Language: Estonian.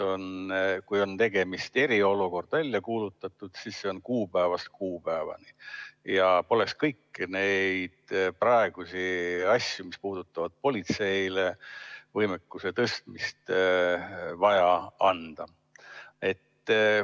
Kui on eriolukord välja kuulutatud, siis see kehtib kuupäevast kuupäevani ja poleks kõiki neid praegusi muudatusi, mis puudutavad politsei võimekuse tõstmist, üldse vaja.